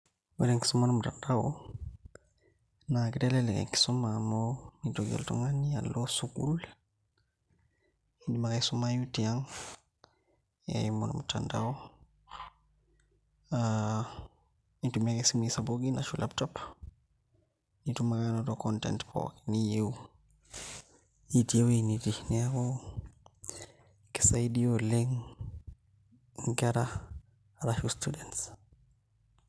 Ore enkisuma ormutandao naa kitelelek enkisuma amu mitoki oltung'ani alo sukuul iindim ake aisumayu tiang' eimu ormutandao aa intumia ake isimuui sapukin ashu laptops nitum ake naai anoto content pookin niyieu itii ewueji nitii, neeku kisaidia oleng' nkera arashu students.